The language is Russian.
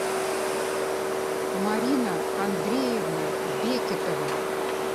марина андреевна бекетова